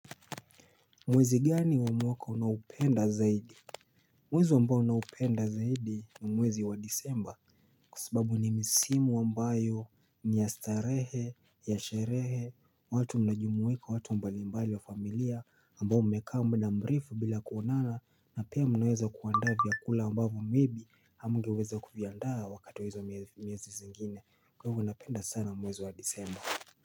Mwezi gani wa mwaka unaupenda zaidi? Mwezi wa ambao naupenda zaidi ni mwezi wa disemba kwa sababu ni misimu wa ambayo ni yastarehe, yasherehe, watu mnajumuika, watu mbalimbali wa familia ambao umeka muda murefu bila kuonana na pia mnaweza kuandaa vya kula ambavu maybe hamgeweza kuviandaa wakati wa hizo miezi zingine kwa hivyo unapenda sana mwezi wa disemba.